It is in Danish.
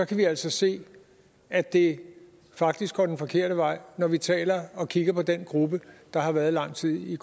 kan vi altså se at det faktisk går den forkerte vej når vi taler og kigger på den gruppe der har været lang tid i